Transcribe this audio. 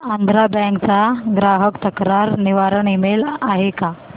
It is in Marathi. आंध्रा बँक चा ग्राहक तक्रार निवारण ईमेल आहे का